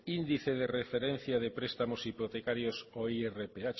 índice de referencia de prestamos hipotecarios o irph